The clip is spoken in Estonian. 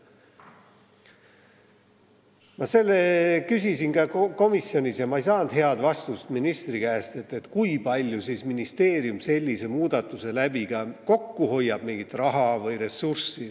Ma küsisin ka komisjonis ministri käest, aga ma ei saanud head vastust, kui palju siis ministeerium sellise muudatusega kokku hoiab mingit raha või ressurssi.